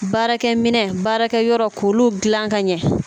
Baarakɛ minɛ baarakɛ yɔrɔ k'olu gilan ka ɲɛ